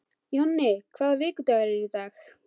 Jonni, hvaða vikudagur er í dag?